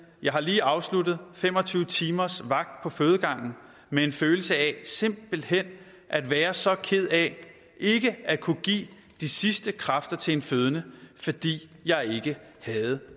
jeg har lige afsluttet fem og tyve timers vagt på fødegangen med en følelse af simpelthen at være så ked af ikke at kunne give de sidste kræfter til en fødende fordi jeg ikke havde